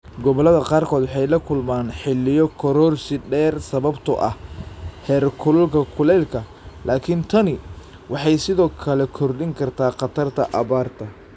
Gobollada qaarkood waxay la kulmaan xilliyo kororsi dheer sababtoo ah heerkulka kulaylka, laakiin tani waxay sidoo kale kordhin kartaa khatarta abaarta.